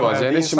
Yox əlbəttə.